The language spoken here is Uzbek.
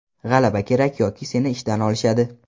G‘alaba kerak yoki seni ishdan olishadi”.